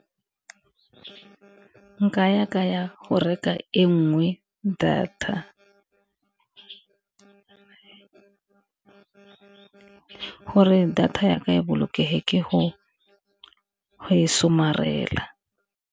Nka ya ka ya go reka e nngwe data , gore data ya ka e bolokege ke go e somarela.